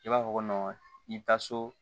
I b'a fɔ ko i bi taa so